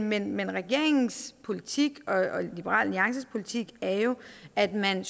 men men regeringens politik og liberal alliances politik er jo at man